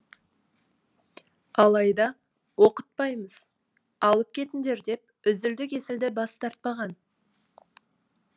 алайда оқытпаймыз алып кетіңдер деп үзілді кесілді бас тартпаған